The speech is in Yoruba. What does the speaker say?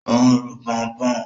Ó ń ru pọnpọ́n.